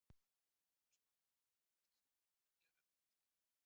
Jónas Margeir: Ert þú búinn að gera upp hug þinn?